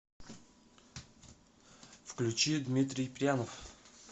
включи дмитрий прянов